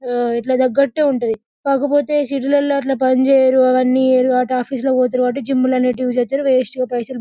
ఆ వీట్ల తగ్గట్టే ఉంటుంది కాకపోతే సిటీలలో అట్లా పనిచేయరు అవన్నీ చేయరు కాబట్టి ఆఫీస్ లాళ్లకి పోతారు కాబట్టి జిమ్ ల అనేటివి చేస్తారు వేస్ట్ గా పైసలు--